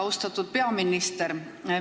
Austatud peaminister!